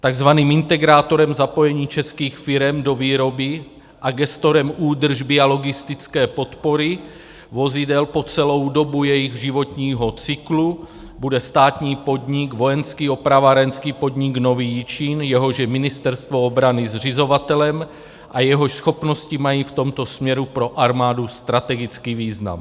Takzvaným integrátorem zapojení českých firem do výroby a gestorem údržby a logistické podpory vozidel po celou dobu jejich životního cyklu bude státní podnik Vojenský opravárenský podnik Nový Jičín, jehož je Ministerstvo obrany zřizovatelem a jehož schopnosti mají v tomto směru pro armádu strategický význam.